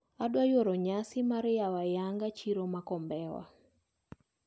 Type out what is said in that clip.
Adwaro yuoro nyasi mar yawo ayanga chiro ma Kombewa.